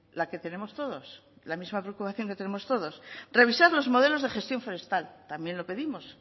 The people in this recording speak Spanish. la que tenemos todos la misma preocupación que tenemos todos revisar los modelos de gestión forestal también lo pedimos